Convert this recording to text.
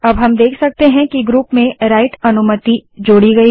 अब हम देख सकते हैं कि ग्रुप में राइट अनुमति जोड़ी गयी है